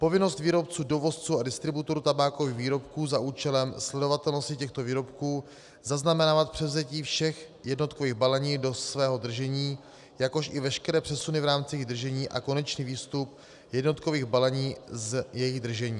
Povinnost výrobců, dovozců a distributorů tabákových výrobků za účelem sledovatelnosti těchto výrobků zaznamenávat převzetí všech jednotkových balení do svého držení, jakož i veškeré přesuny v rámci jejich držení a konečný výstup jednotkových balení z jejich držení.